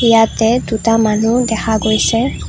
ইয়াতে দুটা মানুহ দেখা গৈছে।